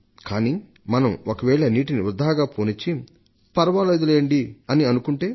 కానీ మనం ఒకవేళ నీటిని వృథాగా పోనిస్తే ఇదే పనిగా ఉంటే